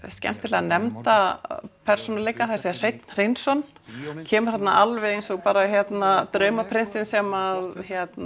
skemmtilega nefnda persónuleika Hrein Hreinsson kemur þarna alveg eins og bara draumaprinsinn sem